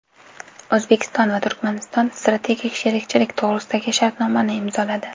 O‘zbekiston va Turkmaniston Strategik sherikchilik to‘g‘risidagi shartnomani imzoladi.